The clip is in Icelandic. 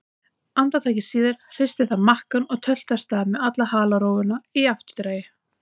Andartaki síðar hristi það makkann og tölti af stað með alla halarófuna í eftirdragi.